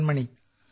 Madan മണി